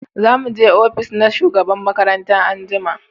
za mu je ofis na shugaban makaranta anjima